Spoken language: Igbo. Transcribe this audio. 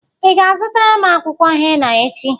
Ị ga-azụtara m akwụkwọ hena echi?